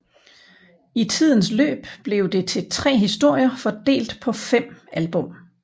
I tidens løb blev det til tre historier fordelt på fem album